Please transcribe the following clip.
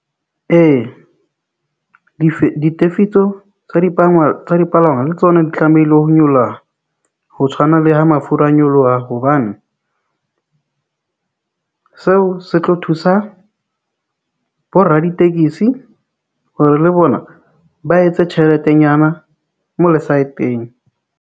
Ee, ditefitso tsa tsa dipalangwa le tsona di tlamehile ho nyolla ho tshwana le ha mafura a nyoloha, hobane seo se tlo thusa bo raditekesi hore le bona ba etse tjheletenyana mo lesaeteng.